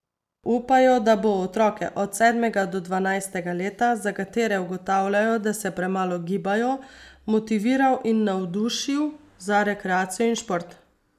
Upajo, da bo otroke od sedmega do dvanajstega leta, za katere ugotavljajo, da se premalo gibajo, motiviral in navdušil za rekreacijo in šport.